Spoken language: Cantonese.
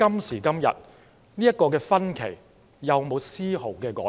時至今日，這個分歧有否絲毫改變？